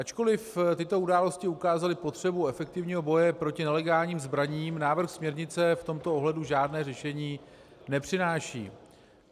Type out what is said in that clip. Ačkoliv tyto události ukázaly potřebu efektivního boje proti nelegálním zbraním, návrh směrnice v tomto ohledu žádné řešení nepřináší.